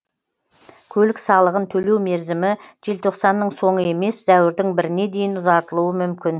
көлік салығын төлеу мерзімі желтоқсанның соңы емес сәуірдің біріне дейін ұзартылуы мүмкін